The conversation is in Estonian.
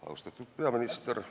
Austatud peaminister!